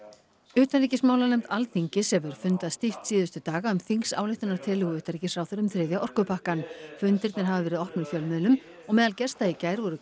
utanríkismálanefnd Alþingis hefur fundað stíft síðustu daga um þingsályktunartillögu utanríkisráðherra um þriðja orkupakkann fundirnir hafa verið opnir fjölmiðlum og meðal gesta í gær voru